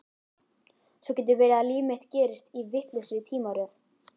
Svo getur verið að líf mitt gerist í vitlausri tímaröð.